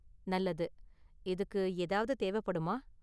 நல்லது! இதுக்கு ஏதாவது தேவப்படுமா?